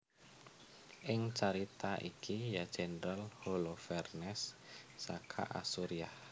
Ing carita iki ya jendral Holofernes saka Asuriah